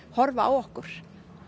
horfa á okkur